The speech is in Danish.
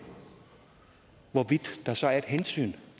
der så er et hensyn